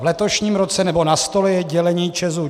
V letošním roce, nebo na stole je dělení ČEZu.